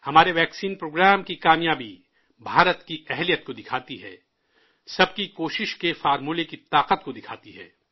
ہمارے vaccine programme کی کامیابی، بھارت کی صلاحیت کو دکھاتی ہے، سب کی کوشش کے منتر کی طاقت کو دکھاتی ہے